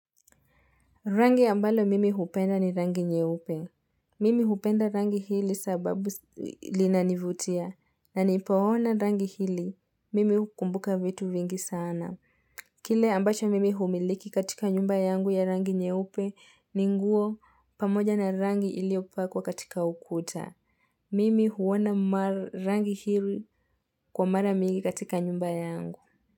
Rangi ambalo mimi hupenda ni rangi nyeupe. Mimi hupenda rangi hili sababu linanivutia na nipoona rangi hili mimi hukumbuka vitu vingi sana. Kile ambacho mimi humiliki katika nyumba yangu ya rangi nyeupe ni nguo pamoja na rangi iliopakwa katika ukuta. Mimi huona rangi hili kwa mara mingi katika nyumba yangu.